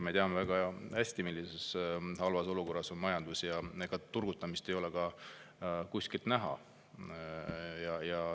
Me teame väga hästi, kui halvas olukorras on majandus, ja ega turgutamist ei ole ka kuskilt näha.